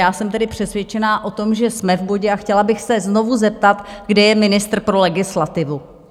Já jsem tedy přesvědčená o tom, že jsme v bodě, a chtěla bych se znovu zeptat - kde je ministr pro legislativu?